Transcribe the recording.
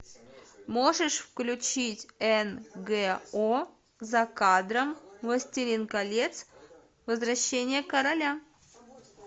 можешь включить нго за кадром властелин колец возвращение короля